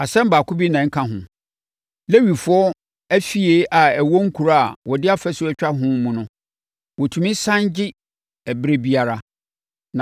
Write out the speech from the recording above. “ ‘Asɛm baako bi na ɛnka ho. Lewifoɔ afie a ɛwɔ nkuro a wɔde afasuo atwa ho mu no, wɔtumi sane gye ɛberɛ biara,